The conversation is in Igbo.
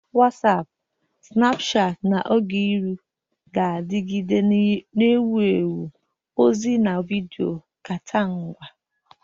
Wasiapu, Sinapuchati, na Ogeihu ga-anọgide na-ewu ewu ozi na vidiyo nkata ngwa.